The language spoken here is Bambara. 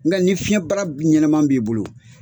Nga ni fiɲɛn bara b ɲɛnɛman b'i bolo